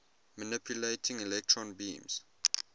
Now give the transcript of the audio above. manipulating electron beams